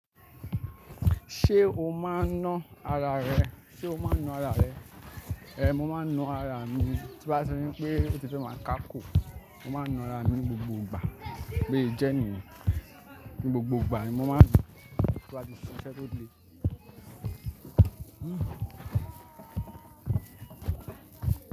Ṣé o máa ń ná ara rẹ? Sé o máa ń ná ara rẹ? Ehn, mo máa ń ná ara mi. Tí n ba ti ri wípé ó ti fẹ́ máa káko, mo máa ń ná ara mi gbogbo ìgbà. Bo se jẹ niyen. Ni gbogbo ìgbà ni mo máa ńaa. Ti ko ba ti ṣiṣẹ́ to le. Hmm.